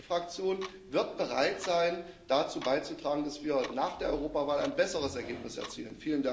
Die EVP Fraktion wird bereit sein, dazu beizutragen, dass wir nach der Europawahl ein besseres Ergebnis erzielen.